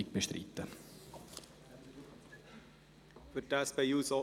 Und wir bestreiten die Abschreibung.